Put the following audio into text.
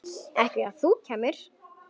Ekki ef þú kæmir.